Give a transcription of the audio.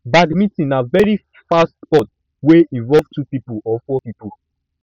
badminton na very fast sport wey involve two pipo or four pipo